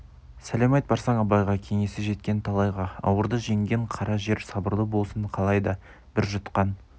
сәлем айт барсаң абайға кеңесі жеткен талайға ауырды жеңген қара жер сабырлы болсын қалайда бір жұтқан